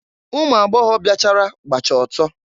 Ụmụ agbọgọbịa bịachara gbacha ọtọ.